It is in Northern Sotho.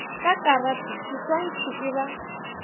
ka karate seswantšhi e ba